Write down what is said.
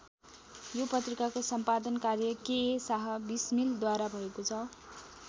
यो पत्रिकाको सम्पादन कार्य केए शाह विस्मिलद्वारा भएको छ।